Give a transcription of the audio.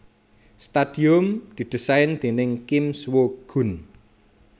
Stadium didésain déning Kim Swoo Geun